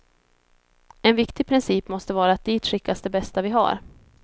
En viktig princip måste vara att dit skickas det bästa vi har.